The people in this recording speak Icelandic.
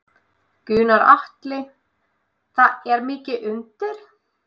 Gunnar Atli: Það er mikið undir?